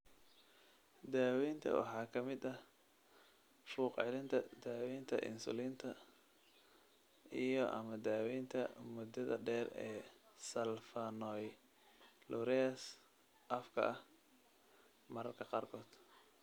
Daaweynta waxaa ka mid ah fuuq-celinta, daaweynta insulinta iyo/ama daawaynta muddada dheer ee sulfonylureas afka ah (mararka qaarkood).